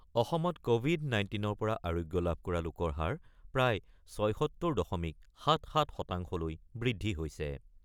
অসমত ক'ভিড ১৯ ৰ পৰা আৰোগ্য লাভ কৰা লোকৰ হাৰ প্ৰায় ৭৬ দশমিক ৭-৭ শতাংশলৈ বৃদ্ধি হৈছে।